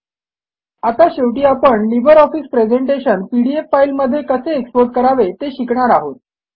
आता शेवटी आपण LibreOffice presentation PDF file मध्ये कसे एक्सपोर्ट करावे ते शिकणार आहोत